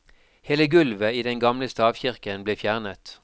Hele gulvet i den gamle stavkirken ble fjernet.